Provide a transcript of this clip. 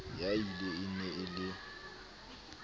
ya ill e na le